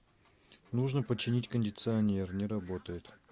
нужно починить кондиционер не работает